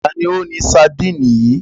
Ta ni ó ní sadínì yìí?